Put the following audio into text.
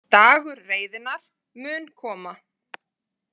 Dagur reiðinnar mun koma.